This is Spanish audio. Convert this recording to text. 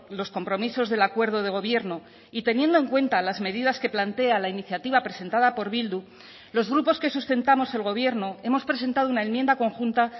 los compromisos del acuerdo de gobierno y teniendo en cuenta las medidas que plantea la iniciativa presentada por bildu los grupos que sustentamos el gobierno hemos presentado una enmienda conjunta